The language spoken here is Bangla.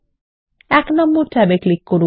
এক নম্বর ট্যাব এ ক্লিক করুন